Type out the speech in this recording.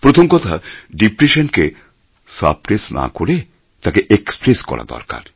প্রথম কথা ডিপ্রেশন কে সাপ্রেস না করে তাকে এক্সপ্রেস করা দরকার